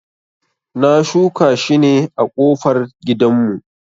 Na shuka shi ne a kofar gidan mu